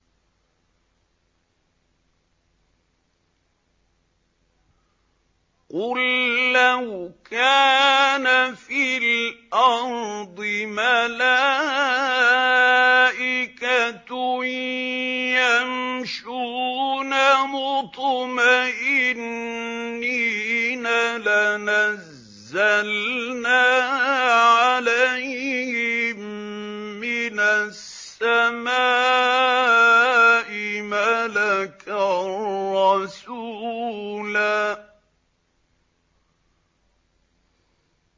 قُل لَّوْ كَانَ فِي الْأَرْضِ مَلَائِكَةٌ يَمْشُونَ مُطْمَئِنِّينَ لَنَزَّلْنَا عَلَيْهِم مِّنَ السَّمَاءِ مَلَكًا رَّسُولًا